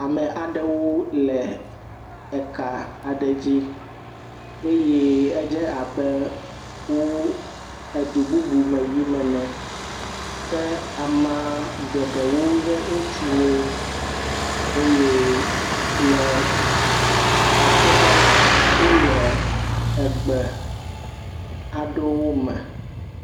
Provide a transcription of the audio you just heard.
Ame aɖewo le eka aɖe dzi eye edze abe wo edu bubu me yim ene ke amea geɖewo nye ŋutsuwo eye le akpɔ be la wo le egbe aɖewo me.